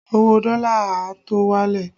Owó dọ́lá a tó wálẹ̀